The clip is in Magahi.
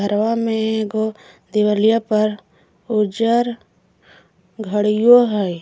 घरवा में एगो देवलिया पर उज्जर घड़ियो है।